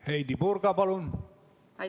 Heidy Purga, palun!